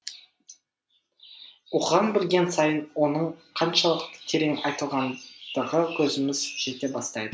оқыған білген сайын оның қаншалықты терең айтылғандығы көзіміз жете бастайды